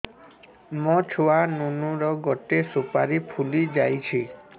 ମୋ ଛୁଆ ନୁନୁ ର ଗଟେ ସୁପାରୀ ଫୁଲି ଯାଇଛି